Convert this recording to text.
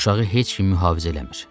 Uşağı heç kim mühafizə eləmir.